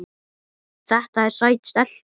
Þetta er sæt stelpa.